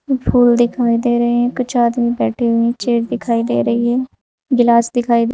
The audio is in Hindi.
और फूल दिखाई दे रहे हैं कुछ आदमी बैठे हुए हैं चेयर दिखाई दे रही है गिलास दिखाई--